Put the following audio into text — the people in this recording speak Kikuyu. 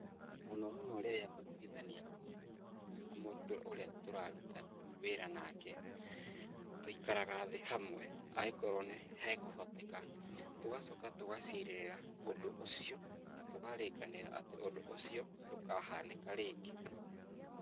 Mũno mũno rĩrĩa ngũtuithania ngũĩ, na mũndũ ũrĩa tũraruta wĩra nake. Tũikaraga thĩ hamwe angĩkorwo nĩ hakũhoteka. Tũgacoka tũgacirĩrĩra ũndũ ũcio na tũkarĩkanĩra atĩ ũndũ ũcio ndũkanahanĩka rĩngĩ.